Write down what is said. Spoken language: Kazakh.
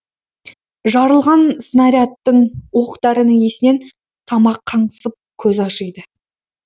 жарылған снарядтың оқ дәрінің иісінен тамақ қаңсып көз ашиды